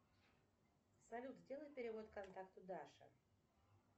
салют сделай перевод контакту даша